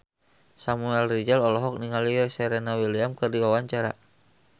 Samuel Rizal olohok ningali Serena Williams keur diwawancara